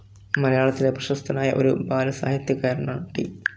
മലയാളത്തിലെ പ്രശസ്തനായ ഒരു ബാലസാഹിത്യകാരനാണ് ടി.